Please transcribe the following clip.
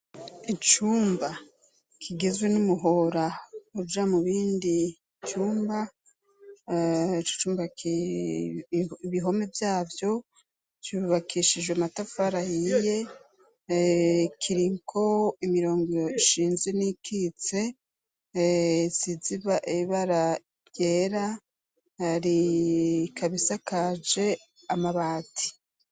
Icyumba kigezwe n'umuhora uja mu bindi cyumba ibihome byabyo cyubakishije matafara yiye kiriko imirongo ishinze n'ikitse siziba ibara yera hari kabisa kaje amabati.